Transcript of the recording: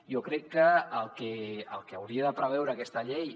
jo crec que el que hauria de preveure aquesta llei